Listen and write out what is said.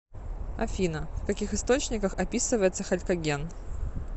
афина в каких источниках описывается халькоген